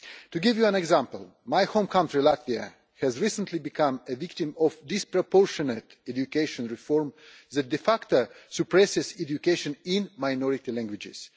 To give you an example, my home country, Latvia, has recently become a victim of disproportionate education reform, doing away, de facto, with education in minority languages.